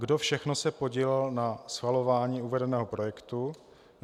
Kdo všechno se podílel na schvalování uvedeného projektu?